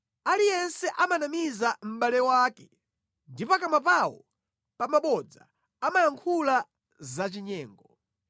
Aliyense amanamiza mʼbale wake; ndi pakamwa pawo pabodza amayankhula zachinyengo.